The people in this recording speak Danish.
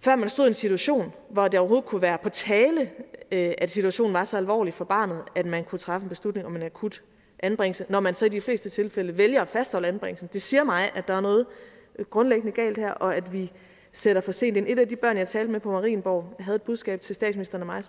før man stod i en situation hvor det overhovedet kunne være på tale at situationen var så alvorlig for barnet at man kunne træffe en beslutning om en akut anbringelse når man så i de fleste tilfælde vælger at fastholde anbringelsen det siger mig at der er noget grundlæggende galt her og at vi sætter for sent ind et af de børn jeg talte med på marienborg havde et budskab til statsministeren og mig